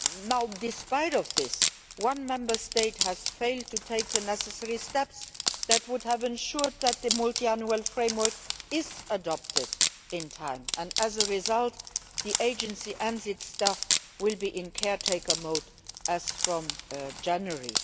unanimity. Now, in spite of this, one Member State has failed to take the necessary steps which would have ensured that the Multiannual Framework is adopted in time, and as a result the Agency and its staff will be in caretaker mode from